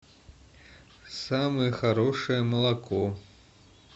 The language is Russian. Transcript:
самое хорошее молоко